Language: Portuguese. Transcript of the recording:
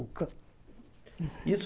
Isso